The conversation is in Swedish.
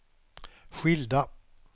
skilda